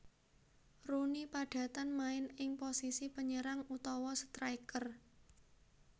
Rooney padatan main ing posisi penyerang utawa striker